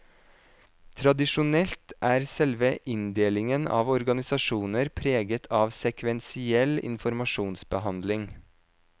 Tradisjonelt er selve inndelingen av organisasjoner preget av sekvensiell informasjonsbehandling.